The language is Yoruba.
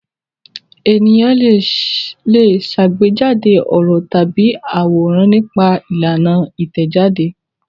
Ènìyàn le ṣàgbéjáde ọ̀rọ̀ tàbí àwòrán nípa ìlànà Ìtẹ̀jáde.